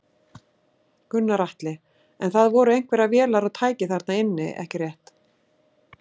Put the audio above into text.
Gunnar Atli: En það voru einhverjar vélar og tæki þarna inni ekki rétt?